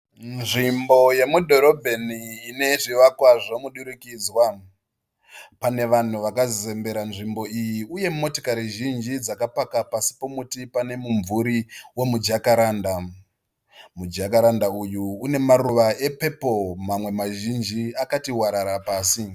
Nzvimbo yemudhorobheni ine zvivakwa zvemudurikidzwa. Pane vanhu vakazembera nzvimbo iyi. Uye motikari zhinji dzakapaka pasi pemuti pane mumvuri wemu jakaranda. Mujakaranda uyu une maruva epepuru mamwe mazhinji akati warara pasi.